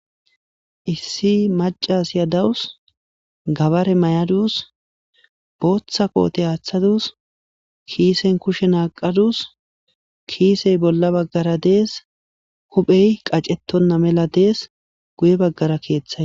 Issi macasiya de'awusi, gabare mayadusi, bootha kote athadusi, kisen kushe naqadusi ,kisey bolla bagara Des, huphey qacetona mela Des, guye bagara kethay Des.